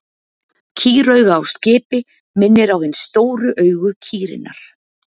Kýrauga á skipi minnir á hin stóru augu kýrinnar.